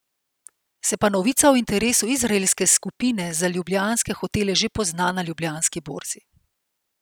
Se pa novica o interesu izraelske skupine za ljubljanske hotele že pozna na Ljubljanski borzi.